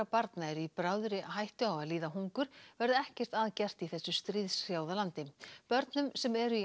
barna eru í bráðri hættu á að líða hungur verði ekkert að gert í þessu stríðshrjáða landi börnum sem eru í